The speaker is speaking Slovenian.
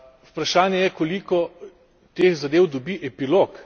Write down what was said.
Vprašanje je, koliko teh zadev dobi epilog.